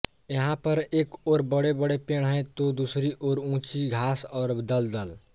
यहां पर एक ओर बड़ेबड़े पेड़ हैं तो दूसरी ओर ऊंची घास और दलदल